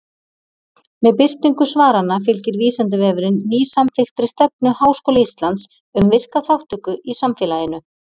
Með birtingu svaranna fylgir Vísindavefurinn nýsamþykktri stefnu Háskóla Íslands um virka þátttöku í samfélaginu.